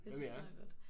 Hvad med jer?